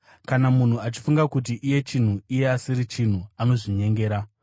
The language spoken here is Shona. Kana munhu achifunga kuti iye chinhu iye asiri chinhu, anozvinyengera.